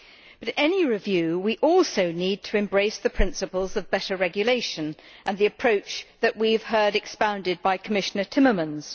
With any review we also need to embrace the principles of better regulation and the approach that we have heard expounded by Commissioner Timmermans.